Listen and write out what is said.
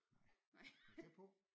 Nej men tæt på